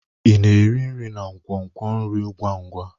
Ị na-eri nri na nkwonkwo nri ngwa ngwa?